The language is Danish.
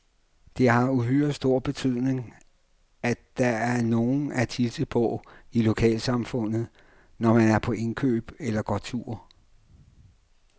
Det har uhyre stor betydning, at der er nogen at hilse på i lokalsamfundet, når man er på indkøb eller går tur.